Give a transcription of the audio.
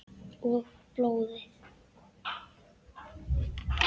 Og blóði.